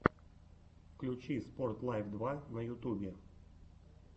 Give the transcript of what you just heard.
включи спорт лайф два на ютубе